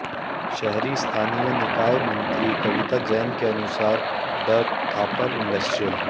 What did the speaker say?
शहरी स्थानीय निकाय मंत्री कविता जैन के अनुसार द थापर इंडस्ट्रियल